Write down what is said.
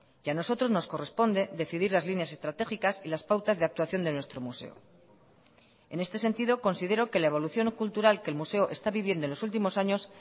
y a nosotros nos corresponde decidir las líneas estratégicas y las pautas de actuación de nuestro museo en este sentido considero que la evolución cultural que el museo está viviendo en los últimos años